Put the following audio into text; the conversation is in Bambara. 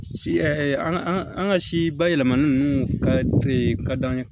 Si an ka an ka an ka si bayɛlɛmani ninnu ka ka d'an ye